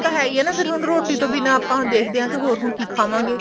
ਉਹ ਤਾਂ ਹੈ ਹੀ ਨਾ ਫੇਰ ਹੁਣ ਰੋਟੀ ਤੋਂ ਬਿਨਾ ਆਪਾਂ ਦੇਖਦੇ ਹਾਂ ਹੋਰ ਹੁਣ ਕਿ ਖਾਵਾਂਗੇ